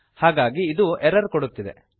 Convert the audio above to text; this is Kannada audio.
ಹಾಗಾಗಿ ಇದು ಎರರ್ ಕೊಡುತ್ತಿದೆ